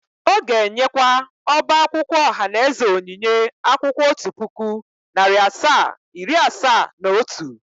Ó ga-enyekwa ọba akwụkwọ ohanaeze onyinye akwụkwọ otu puku, nari asaa, iri asaa na otu.